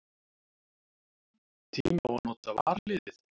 Tími á að nota varaliðið?